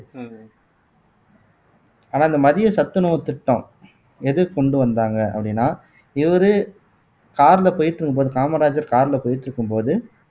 உம் ஆனா இந்த மதிய சத்துணவுத் திட்டம் எதுக்கு கொண்டு வந்தாங்க அப்படின்னா இவரு car ல போயிட்டு இருக்கும்போது காமராஜர் car ல போயிட்டிருக்கும்போது